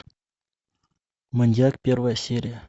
маньяк первая серия